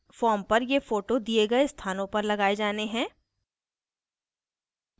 form पर ये photos दिए गए स्थानों पर लगाये जाने हैं